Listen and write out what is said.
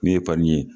Min ye fani ye